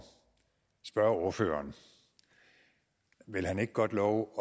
spørge ordføreren vil han ikke godt love